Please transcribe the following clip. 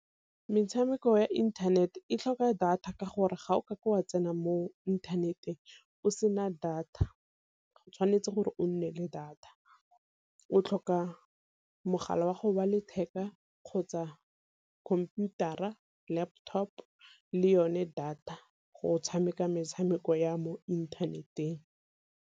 Metshameko ya internet e tlhoka data ka gore ga o kake wa tsena mo inthaneteng o sena data, o tshwanetse gore o nne le data. O tlhoka mogala wa gago wa letheka kgotsa khomputara, laptop le yone data go tshameka metshameko ya mo inthaneteng.